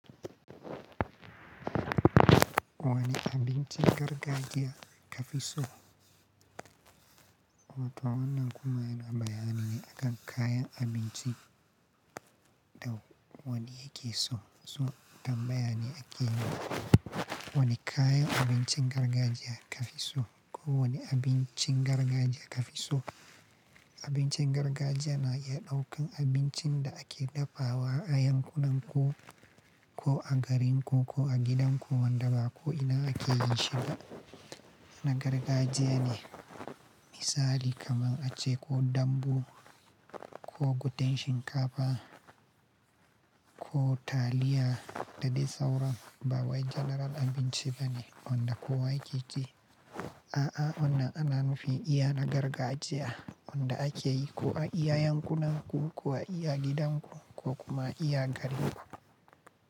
Wane abincin gargajiya kafi so? Eh to wannan kuna neman bayani ne akan kayan abinci da wanne yake so. So, tambaya ne ake yi, wane kayan abincin gargajiya kafi so ko wane abincin gargajiya kafi so? Abincin gargajiya na iya ɗaukan abincin da ake dafawa a yankunan ku ko a garin ku ko a gidan ku, wanda ba ko ina ake yin shi ba. Na gargajiya ne, misali kamar ace ko dambu ko gwaten shinkafa ko taliya da dai sauran. Ba wai janaral abinci bane wanda kowa yake ci. A'a, wannan ana nufin iya na gargajiya wanda ake yi ko a iya yankunan ku ko a iya gidan ku ko kuma iya garin ku.